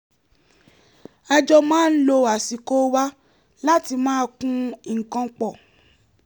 a jọ máa ń lo àsìkò wa láti máa kun nǹkan pọ̀